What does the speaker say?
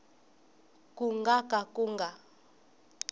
ku nga ka ku nga